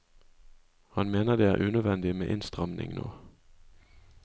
Han mener det er unødvendig med innstramning nå.